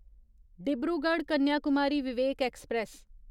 Dibrugarh Kanyakumari Vivek express